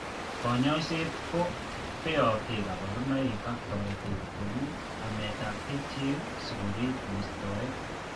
Kanyoiset ko beote kabarunoik ak toretet, ko u, ametab kerichek sikorip mistoet.